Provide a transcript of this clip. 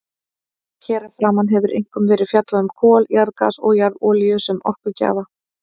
Hér að framan hefur einkum verið fjallað um kol, jarðgas og jarðolíu sem orkugjafa.